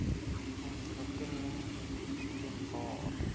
ontwikkelingopenbare